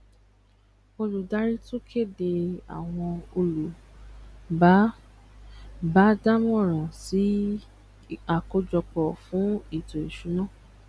olùdarí tún kéde àwọn olú bá bá dá moran sì akojopo fún eto isuna